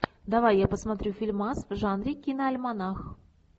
давай я посмотрю фильмас в жанре киноальманах